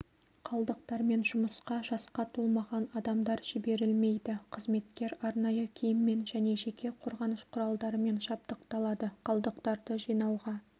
қалдықтармен жұмысқа жасқа толмаған адамдар жіберілмейді қызметкер арнайы киіммен және жеке қорғаныш құралдарымен жабдықталады қалдықтарды жинауға